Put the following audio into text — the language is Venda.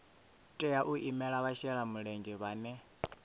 tea u imela vhashelamulenzhe vhane